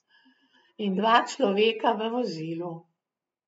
In dva človeka v vozilu.